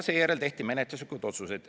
Seejärel tehti menetluslikud otsused.